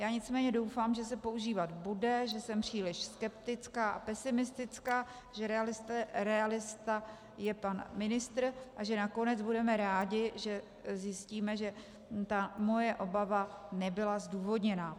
Já nicméně doufám, že se používat bude, že jsem příliš skeptická a pesimistická, že realista je pan ministr a že nakonec budeme rádi, když zjistíme, že ta moje obava nebyla zdůvodněná.